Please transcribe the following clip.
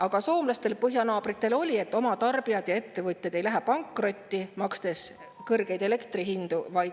Aga soomlastel, põhjanaabritel oli, et oma tarbijad ja ettevõtted ei läheks pankrotti, makstes kõrgeid elektri hindu.